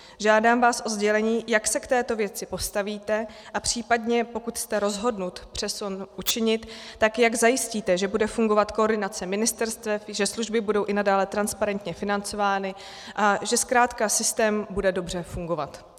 Žádám vás o sdělení, jak se k této věci postavíte a případně, pokud jste rozhodnut přesun učinit, tak jak zajistíte, že bude fungovat koordinace ministerstev, že služby budou i nadále transparentně financovány a že zkrátka systém bude dobře fungovat.